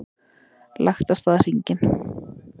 Lagt af stað hringinn